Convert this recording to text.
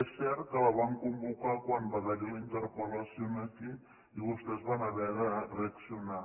és cert que la van convocar quan va haver hi la interpel·lació aquí i vostès van haver de reaccionar